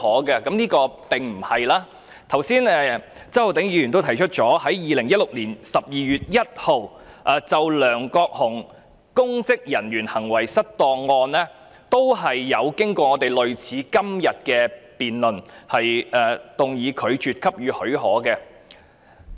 一如周浩鼎議員剛才提到 ，2016 年12月1日就梁國雄公職人員行為失當案，立法會也曾進行與今天類似的辯論，動議拒絕給予許可的議案。